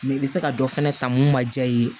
i bɛ se ka dɔ fana ta mun ma diya i ye